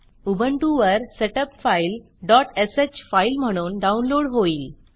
उबंटुवर setup file dot sh sh file म्हणून download होईल